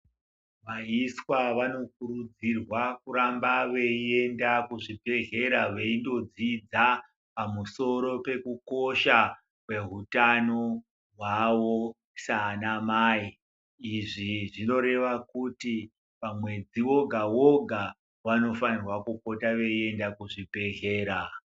Vaiswa vanokurudzirwa kuramba veienda kuzvibhehlera veindodzidza pamusoro pekukosha kwehutano hwavo saana mai. Izvi zvinoreva kuti mamwedzi woga woga vanofanirwa kupota veienda kuzvibhehlera.